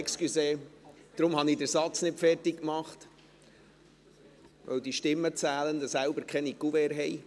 Entschuldigen Sie, ich habe den Satz deshalb nicht fertig gemacht, weil die Stimmenzählenden selbst keine Kuverts haben.